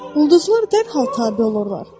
Ulduzlar dərhal tabe olurlar.